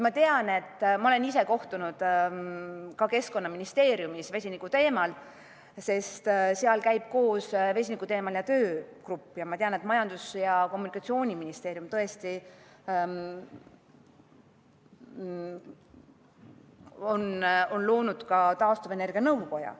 Ma olen osalenud Keskkonnaministeeriumis vesiniku teemal peetud kohtumistel, sest seal käib koos vesinikuteemaline töögrupp, ja ma tean, et Majandus- ja Kommunikatsiooniministeerium on loonud ka taastuvenergia nõukoja.